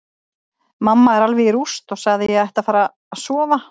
Mamma er alveg í rúst og sagði að ég ætti að fara að sofa.